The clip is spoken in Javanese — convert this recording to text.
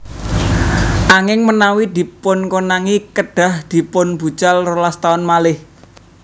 Anging menawi dipunkonangi kedhah dipunbucal rolas taun malih